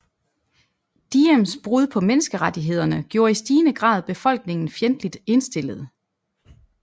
Diems brud på menneskerettighederne gjorde i stigende grad befolkningen fjendtligt indstillet